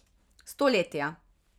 Stoletja.